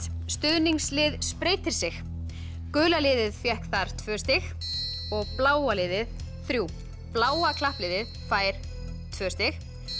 stuðningslið spreytir sig gula liðið fékk þar tvö stig og bláa liðið þriðja bláa klappliðið fær tvö stig